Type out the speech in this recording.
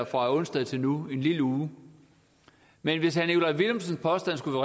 fra onsdag og til nu en lille uge men hvis herre nikolaj villumsens påstand skulle